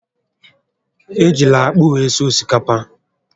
Ejila akpụ were sie osikapa!